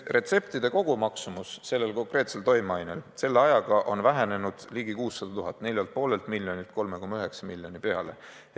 Retseptide kogumaksumus selle konkreetse toimeainega ravimi puhul on selle ajaga vähenenud ligi 600 000, st 4,5 miljonilt 3,9 miljoni peale.